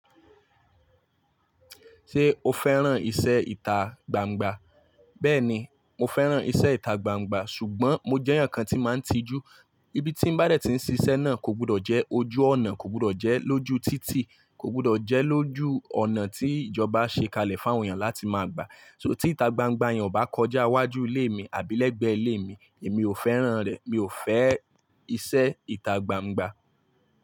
Ṣé o fẹ́ràn ìṣe ìta gbangba? Bẹ́ẹ̀ni, mo fẹ́ràn ìṣe ìta gbangba ṣùgbọ́n mo jẹ́ èèyàn kan tí máa ń tijú. Ibi tí mo bá dẹ̀ tí ń ṣiṣẹ́ náà kò gbọdọ̀ jẹ́ ojú ọ̀nà, kò gbọdọ̀ jẹ́ lójú títì, kò gbọdọ̀ jẹ́ lójú ọ̀nà tí ìjọba ṣe kalẹ̀ fún àwọn èèyàn láti máa gba. So tí ìta gbangba yẹn ò bá kọjá iwájú ilé mi àbí lẹ́gbẹ̀ẹ́ ilé mi, èmi ò fẹ́ràn rẹ̀. Mi ò fẹ́ ìṣe ìta gbangba.